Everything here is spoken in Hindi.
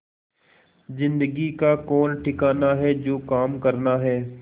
जिंदगी का कौन ठिकाना है जो काम करना है